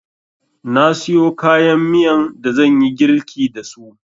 Na siyo kayan miyan da zanyi girlki dasu